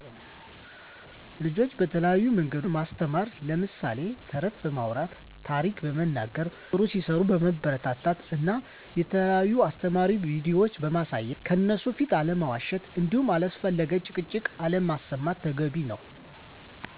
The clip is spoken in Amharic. ልጆች በተለያዮ መንገድ ማስተማር ለምሳሌ ተረተረት በማውራት፣ ታሪክ በመንገር፣ ጥሩ ሲሰሩ በማበረታታት እና የተለዩ አሰተማሪ ቪዲዮ ማሳየት ከእነሡ ፊት አለመዋሽት እንዲሁም አላስፈለጊ ጭቅጭቅ አለማሰማት ተገቢ ነው